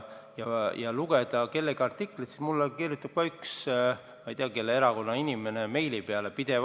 Mis puutub kellegi artiklisse, siis mulle kirjutab üks inimene – ma ei tea, mis erakonda ta kuulub – pidevalt meile.